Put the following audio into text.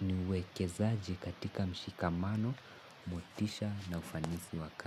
ni uwekezaji katika mshikamano motisha na ufanisi wa kazi.